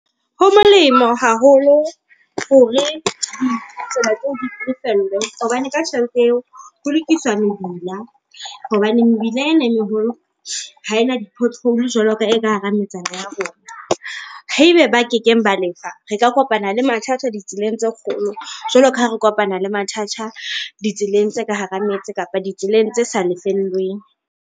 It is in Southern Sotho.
Ho molemo haholo hore ditsela tse o di lefellwe, hobane ka tjhelete eo ho lokiswa mebila. Hobane mebila ena e meholo ha ena di pothole jwaloka e ka hara metsana ya rona. Haebe ba kekeng ba lefa, re ka kopana le mathata ditseleng tse kgolo jwalo ka ha re kopana le mathata ditseleng tse ka hara metse kapa ditseleng tse sa lefellweng.